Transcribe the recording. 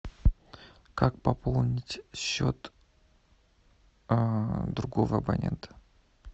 как пополнить счет другого абонента